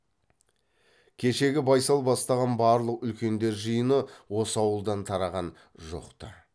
кешегі байсал бастаған барлық үлкендер жиыны осы ауылдан тараған жоқ ты